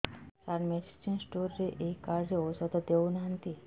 ସାର medicine store ରେ ଏଇ card ରେ ଔଷଧ ଦଉନାହାନ୍ତି